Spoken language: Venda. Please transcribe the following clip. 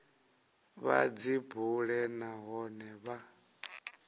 vha dzi bule nahone vha